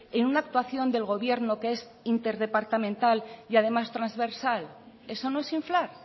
en una actuación del gobierno que es interdepartamental y además trasversal eso no es inflar